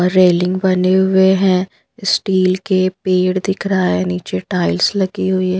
Railing बने हुए हैं इस्टील के पेड़ दिख रहा है नीचे टाइल्स लगी हुई है।